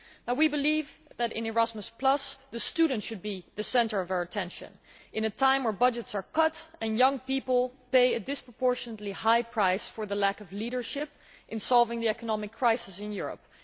We believe that in Erasmus Plus the student should be the centre of attention at a time when budgets are being cut and young people are paying a disproportionately high price for the lack of leadership in solving the economic crisis in Europe.